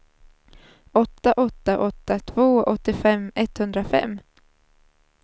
åtta åtta åtta två åttiofem etthundrafem